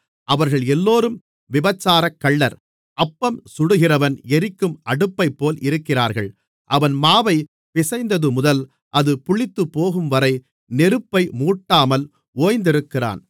அவர்கள் எல்லோரும் விபசாரக்கள்ளர் அப்பம் சுடுகிறவன் எரிக்கும் அடுப்பைப்போல் இருக்கிறார்கள் அவன் மாவைப் பிசைந்ததுமுதல் அது புளித்துப்போகும்வரை நெருப்பை மூட்டாமல் ஓய்ந்திருக்கிறான்